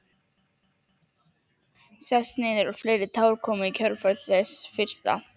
Sest niður og fleiri tár koma í kjölfar þess fyrsta.